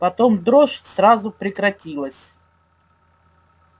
потом дрожь сразу прекратилась